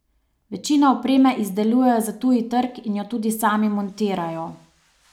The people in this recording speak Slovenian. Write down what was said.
Večino opreme izdelujejo za tuji trg in jo tudi sami montirajo.